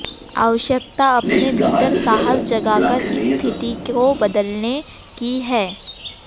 आवश्यकता अपने भीतर साहस जगाकर इस स्थिति को बदलने की है